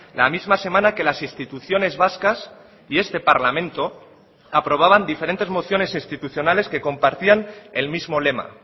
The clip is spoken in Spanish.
la misma semana que las instituciones vascas y este parlamento aprobaban diferentes mociones institucionales que compartían el mismo lema